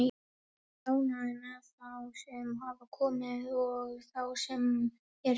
Ég er ánægður með þá sem hafa komið og þá sem eru fyrir.